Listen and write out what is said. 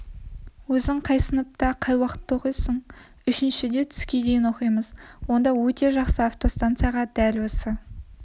өзің қай сыныпта қай уақытта оқисың үшіншіде түске дейін оқимыз онда өте жақсы автостанцияға дәл осы